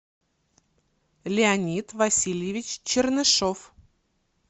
леонид васильевич чернышов